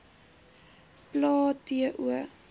plae t o